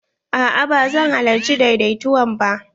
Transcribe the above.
A'a ba zan halarci daidaituwan ba.